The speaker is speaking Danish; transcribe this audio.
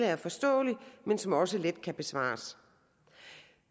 er forståelige men som også let kan besvares